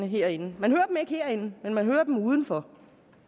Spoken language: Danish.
herinde men man hører dem udenfor